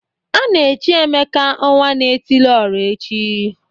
A na-echi Emeka ọnwa-na-etili-ọra taa.